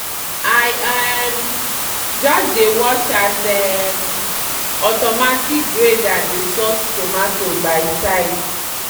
i um just dey watch as um automatic grader dey sort tomato by size.